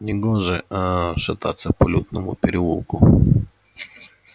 негоже ээ шататься по людному переулку